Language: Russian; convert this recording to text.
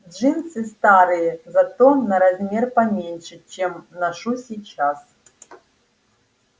джинсы старые зато на размер поменьше чем ношу сейчас